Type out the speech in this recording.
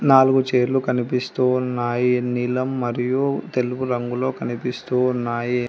నాలుగు చేర్లు కనిపిస్తూ ఉన్నాయి నీలం మరియు తెలుపు రంగులో కనిపిస్తూ ఉన్నాయి.